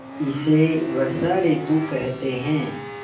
इसे वर्षा ॠतु कहते हैं